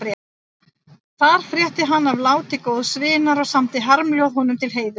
Þar frétti hann af láti góðs vinar og samdi harmljóð honum til heiðurs.